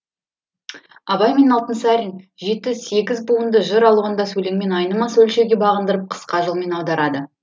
абай мен алтынсарин жеті сегіз буынды жыр алуандас өлеңмен айнымас өлшеуге бағындырып қысқа жолмен аударады